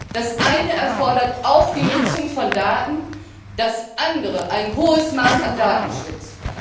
Das eine erfordert auch die Nutzung von Daten, das andere ein hohes Maß an Datenschutz.